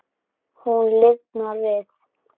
Hún lifnar við.